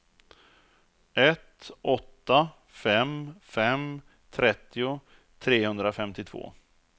ett åtta fem fem trettio trehundrafemtiotvå